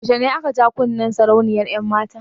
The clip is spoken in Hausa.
Yaushe ne aka ja kunnen sarauniyar 'yanmata?